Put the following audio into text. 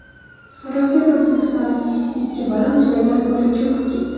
Rossiyada o‘zbekistonlik ikki bola muzlagan ko‘lga cho‘kib ketdi.